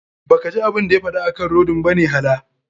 Ba kaji abun da ya faɗa akan rodin bane hala.